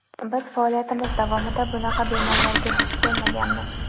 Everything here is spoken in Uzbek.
Biz faoliyatimiz davomida bunaqa bemorlarga duch kelmaganmiz.